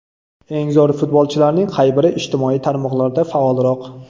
Eng zo‘r futbolchilarning qay biri ijtimoiy tarmoqlarda faolroq?